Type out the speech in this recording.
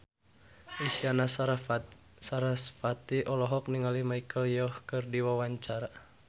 Isyana Sarasvati olohok ningali Michelle Yeoh keur diwawancara